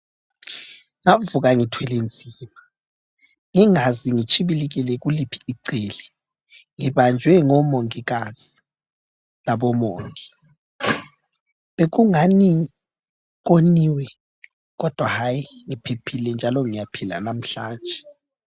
Kwavuka ngithwele nzima ngingazi ngitshibilikele kuliphi icele ngibanjwe ngomongikazi labomongi. Bekungani koniwe kodwa hayi ngiphephile njalo ngiyaphila namhlanje.